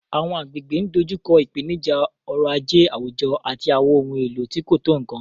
Àwọn agbègbè ń dojú kọ ìpèníjà ọrọ̀ ajé àwùjọ àti àwọn ohun èlò tí kò tó nkan.